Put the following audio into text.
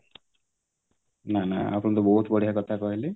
ନା ନା ଆପଣ ତ ବହୁତ ବଢିଆ କଥା କହିଲେ